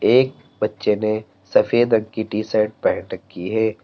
एक बच्चे ने सफेद रंग की टी शर्ट पहन रखी है।